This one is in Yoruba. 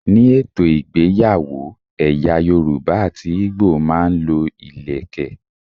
Ni ètò ìgbéyàwó, ẹ̀yà Yorùbá àti Igbo máa ń lo ìlékè.